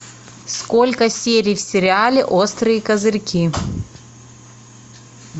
сколько серий в сериале острые козырьки